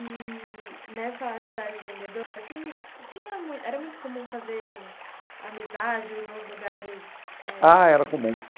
E nessa atividade de vendedor assim tinha muito, era muito comum fazer amizade nos lugares eh... Ah, era comum.